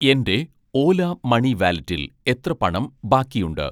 എൻ്റെ ഓല മണി വാലെറ്റിൽ എത്ര പണം ബാക്കിയുണ്ട്?